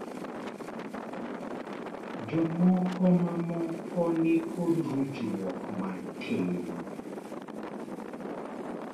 jomoko momako ni kod ruchruok matin